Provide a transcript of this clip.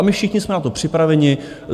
A my všichni jsme na to připraveni.